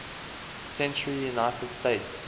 century united states